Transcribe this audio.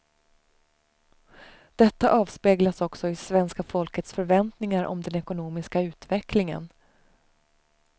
Detta avspeglas också i svenska folkets förväntningar om den ekonomiska utvecklingen.